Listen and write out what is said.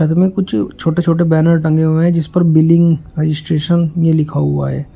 इनमें कुछ छोटे छोटे बैनर टंगे हुए हैं जिस पर बिलिंग रजिस्ट्रेशन ये लिखा हुआ है।